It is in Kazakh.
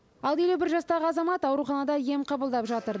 ал елу бір жастағы азамат ауруханада ем қабылдап жатыр